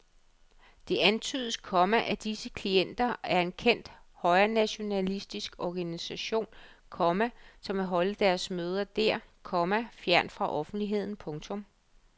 Det antydes, komma at disse klienter er en kendt højrenationalistisk organisation, komma som vil holde deres møder der, komma fjernt fra offentligheden. punktum